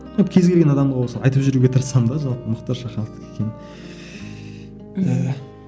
ну кез келген адамға болсын айтып жүруге тырысамын да жалпы мұхтар шахановтікі екенін ііі